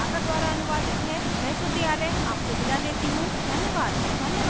यह स्क्रिप्ट प्रभाकर द्वारा अनुवादित है मैं श्रुति आर्य आपसे विदा लेती हूँ धन्यवाद